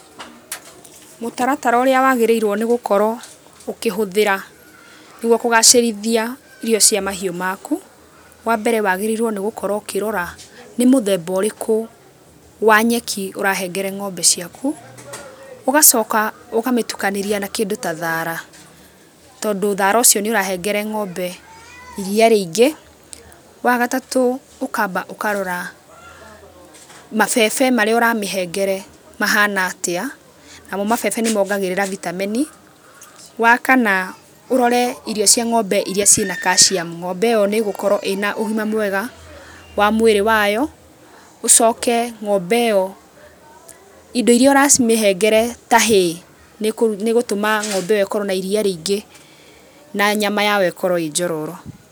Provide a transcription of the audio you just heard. Mũtaratara ũrĩa wagĩrĩirwo nĩ gũkoro ũkĩhũthĩra nĩguo kũgacĩrithia irio cia mahiũ maku, wa mbere wagĩrĩirwo nĩ gũkoro ũkĩrora nĩ mũthemba ũrĩkũ wa nyeki ũrahengere ng'ombe ciaku, ũgacoka ũkamĩtukanĩria na kĩndũ ta thara tondũ thara ũcio nĩ ũrahengere ng'ombe iria rĩingĩ. Wa gatatũ ũkamba ũkarora mabebe marĩa ũramĩhengere mahana atĩa, namo mabebe nĩmongagĩrĩra vitamin. Wa kana ũrore irio cia ng'ombe iria ciĩ na calcium, ng'ombe ĩyo nĩ ĩgũkorwo ĩna ũgima mwega wa mwĩrĩ wayo, ũcoke ng'ombe ĩyo indo iria ũramĩhengere ta hay nĩ ĩgũtũma ng'ombe ĩyo ĩkorwo na iria rĩingĩ na nyama yao ĩkorwo ĩ njororo.